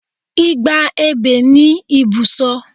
Igba ebè ni ibùsọ